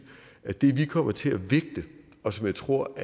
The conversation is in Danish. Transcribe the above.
at det vi kommer til at vægte og som jeg tror